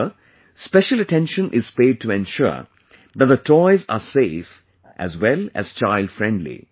Here, special attention is paid to ensure that the toys are safe as well as child friendly